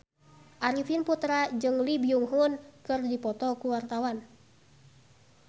Arifin Putra jeung Lee Byung Hun keur dipoto ku wartawan